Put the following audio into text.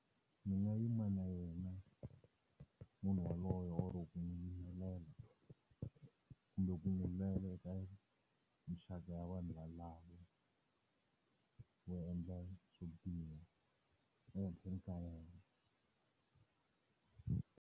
Ndzi nga yima na yena munhu yaloye or ku miyelela kumbe ku n'wi minxaka ya vanhu valavo, vo endla swo biha ehenhleni ka yena.